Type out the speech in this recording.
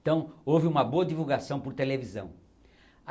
Então houve uma boa divulgação por televisão.